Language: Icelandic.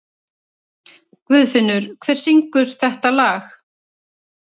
Guðfinnur, hver syngur þetta lag?